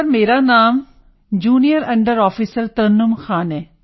sir ਮੇਰਾ ਨਾਮ junior under officer Tarannum Khan ਹੈ